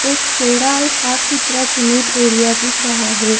एक चौड़ा और साफ सुथरा सीमेंट एरिया दिख रहा है।